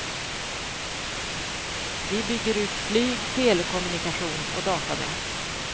Vi bygger ut flyg, telekommunikation och datanät.